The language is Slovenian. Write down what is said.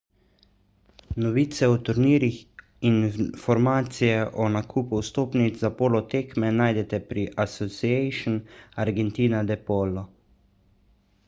novice o turnirjih in informacije o nakupu vstopnic za polo tekme najdete pri asociacion argentina de polo